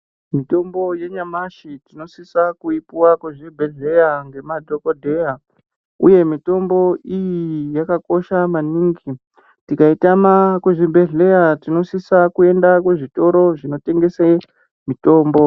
Mitombo yenyamashi tinosisa kuipuwa kuzvibhedhleya ngemadhokodheya uye mitombo iyi yakakosha maningi tikaitama kuzvibhedhleya tinosisa kuenda kuzvitoro zvinotengese mitombo .